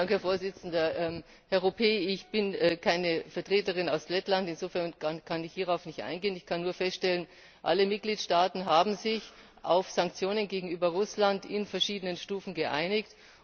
Herr Ropé, ich bin keine Vertreterin aus Lettland, insofern kann ich hierauf nicht eingehen. Ich kann nur feststellen Alle Mitgliedstaaten haben sich auf Sanktionen gegenüber Russland in verschiedenen Stufen geeinigt.